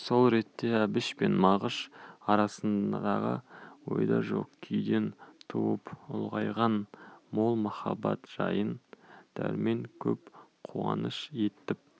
сол ретте әбіш пен мағыш арасындағы ойда жоқ күйден туып ұлғайған мол махаббат жайын дәрмен көп қуаныш етіп